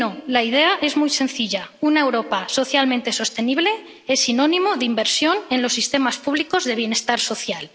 La idea es muy sencilla una Europa socialmente sostenible es sinónimo de inversión en los sistemas públicos de bienestar social.